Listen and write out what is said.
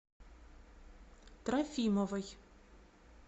трофимовой